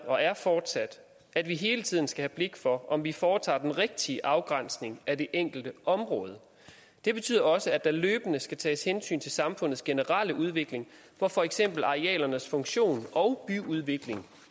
og er fortsat at vi hele tiden skal have blik for om vi foretager den rigtige afgrænsning af det enkelte område det betyder også at der løbende skal tages hensyn til samfundets generelle udvikling hvor for eksempel arealernes funktion og ny udvikling